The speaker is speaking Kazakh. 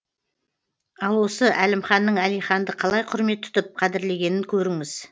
ал осы әлімханның әлиханды қалай құрмет тұтып қадірлегенін көріңіз